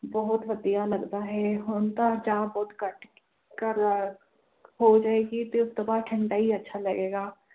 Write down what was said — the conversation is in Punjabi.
ਬਹੁਤ ਵਧੀਆ ਲੱਗਦਾ ਹੈ ਹੁਣ ਤਾਂ ਚਾਹ ਬਹੁਤ ਘੱਟ ਕਰ ਲਾ~ ਹੋ ਜਾਏਗੀ ਤੇ ਉਸ ਤੋਂ ਬਾਅਦ ਠੰਢਾ ਹੀ ਅੱਛਾ ਲੱਗੇਗਾ